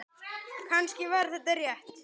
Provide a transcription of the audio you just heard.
Kannski var þetta rétt.